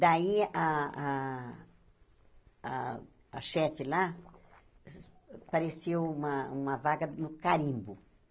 Daí, a a a chefe lá, apareceu uma uma vaga no carimbo.